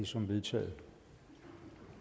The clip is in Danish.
som vedtaget